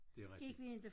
Det er rigtig